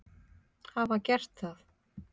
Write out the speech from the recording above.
hafa gert það.